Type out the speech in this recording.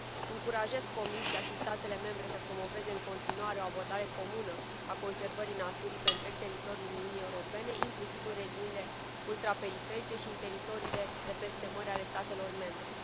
Încurajez Comisia și statele membre să promoveze în continuare o abordare comună a conservării naturii pe întreg teritoriul Uniunii Europene, inclusiv în regiunile ultraperiferice și în teritoriile de peste mări ale statelor membre.